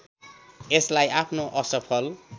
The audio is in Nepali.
यसलाई आफ्नो असफल